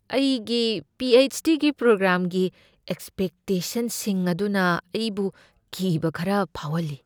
ꯑꯩꯒꯤ P. H. D. ꯄ꯭ꯔꯣꯒ꯭ꯔꯥꯝꯒꯤ ꯑꯦꯛꯁꯄꯦꯛꯇꯦꯁꯟꯁꯤꯡ ꯑꯗꯨꯅ ꯑꯩꯕꯨ ꯀꯤꯕ ꯈꯔ ꯐꯥꯎꯍꯜꯂꯤ ꯫